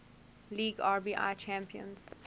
league rbi champions